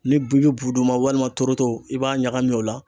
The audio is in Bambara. Ni bi bi bu d'u ma walima toroto i b'a ɲagami o la.